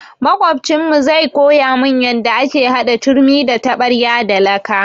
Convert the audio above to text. Maƙocinmu zai koya mun yanda ake hada turmi da taɓarya da laka.